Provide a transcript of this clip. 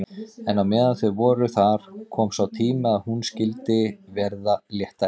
En meðan þau voru þar kom sá tími er hún skyldi verða léttari.